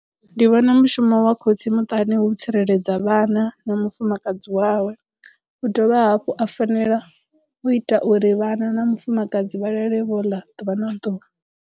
Ndi vhona mushumo wa khotsi muṱani hu tsireledza vhana na mufumakadzi wawe u dovha hafhu a fanela u ita uri vhana na mufumakadzi vha lale vho ḽa ḓuvha na ḓuvha.